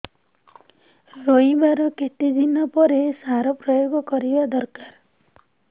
ରୋଈବା ର କେତେ ଦିନ ପରେ ସାର ପ୍ରୋୟାଗ କରିବା ଦରକାର